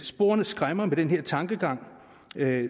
sporene skræmmer med den tankegang